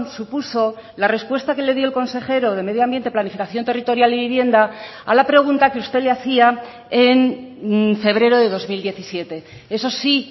supuso la respuesta que le dio el consejero de medio ambiente planificación territorial y vivienda a la pregunta que usted le hacía en febrero de dos mil diecisiete eso sí